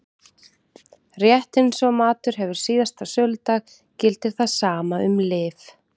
Rétt eins og matur hefur síðasta söludag gildir það sama um lyf.